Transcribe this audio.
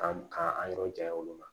K'an ka an yɔrɔ jan olu la